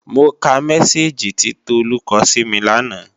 Mo ka mẹ́sáàgì tí Tolú kọ sími lánàá